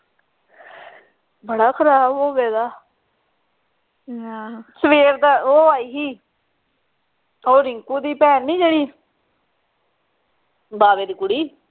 ਬੜਾ ਖਰਾਬ ਹੋ ਗਿਆ ਸਵੇਰ ਦਾ ਉਹ ਆਈ ਸੀ ਉਹ ਰਿੰਕੂ ਦੀ ਭੈਣ ਨਹੀਂ ਜਿਹੜੀ ਬਾਵੇ ਦੀ ਕੁੜੀ